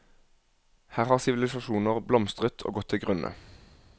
Her har sivilisasjoner blomstret og gått til grunne.